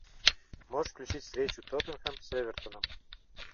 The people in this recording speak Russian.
можешь включить встречу тоттенхэм с эвертоном